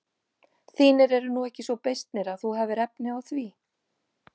Þínir eru nú ekki svo beysnir að þú hafir efni á því.